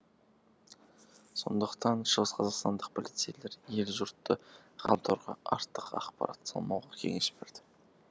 сондықтан шығыс қазақстандық полицейлер ел жұртты ғаламторға артық ақпарат салмауға кеңес берді